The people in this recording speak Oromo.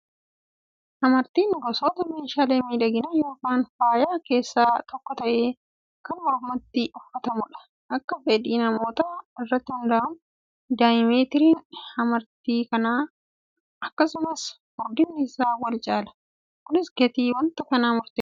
Hamartiin gosoota meeshaalee miidhaginaa yookaan faayaa keessaa tokko ta'ee kan mormatti uffatamudha. Akka fedhii namootaa irratti hundaa'uun diyaameetiriin hamartii kanaa akkasumas furdinni isaa wal caala. Kunis gatii wanta kanaa murteessa.